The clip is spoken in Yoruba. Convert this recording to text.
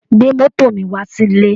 Gbé mọ́tò mi wá sílé